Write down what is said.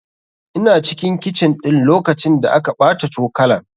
Ina cikin kicin ɗin lokacin da aka ɓata cokalan.